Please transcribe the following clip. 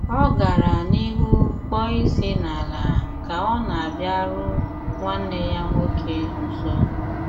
Ọ̀ gara n'ihu kpọọ isi n'ala kà ọ na-abịàru nwanne yà nwoke nso.